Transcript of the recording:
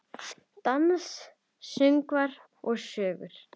Dans, söngvar og sögur.